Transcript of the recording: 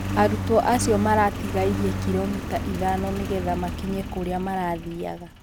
arutwo acĩo maratigairie kiromita ithano nĩgetha makinye kũrĩa marathiaga